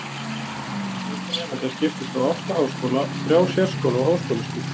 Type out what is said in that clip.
þessi fjöldi nemenda skiptist á átta háskóla og þrjá sérskóla á háskólastigi